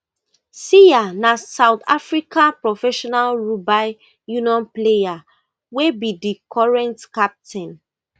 siya na south african professional rugby union player wey be di current captain